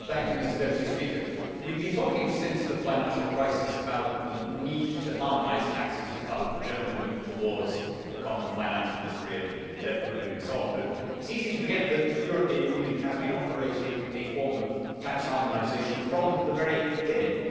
Mr President, we have been talking since the financial crisis about the need to harmonise taxes as part of the general move towards a common finance ministry and debt pooling and so on, but it is easy to forget that the European Union has been operating a form of tax harmonisation from the very beginning.